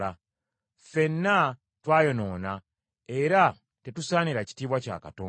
Ffenna twayonoona era tetusaanira kitiibwa kya Katonda.